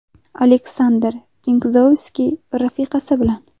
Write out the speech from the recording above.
Aleksandr Pinkzovskiy rafiqasi bilan.